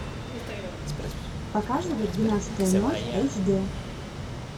показывай двенадцатая ночь эйч д